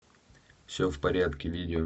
все в порядке видео